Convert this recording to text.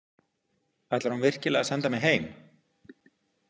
Ætlar hún virkilega að senda mig heim?